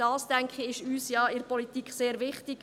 Ich denke, dies ist uns in der Politik sehr wichtig.